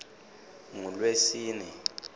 ngulwesine